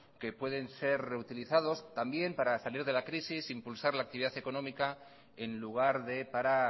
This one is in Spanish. que pueden ser reutilizados también para salir de la crisis impulsar la actividad económica en lugar de para